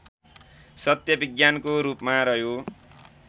सत्य विज्ञानको रूपमा रह्यो